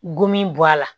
Gomin bɔ a la